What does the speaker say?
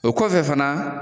O kɔfɛ fana